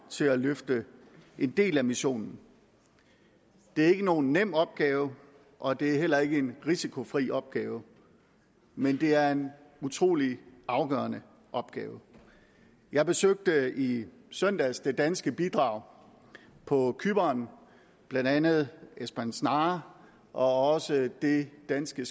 til at løfte en del af missionen det er ikke nogen nem opgave og det er heller ikke en risikofri opgave men det er en utrolig afgørende opgave jeg besøgte i søndags det danske bidrag på cypern blandt andet esbern snare og også det danske